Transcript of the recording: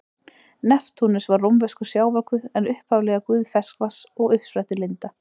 Neptúnus var rómverskur sjávarguð en upphaflega guð ferskvatns og uppsprettulinda.